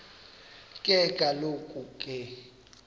ke kaloku ke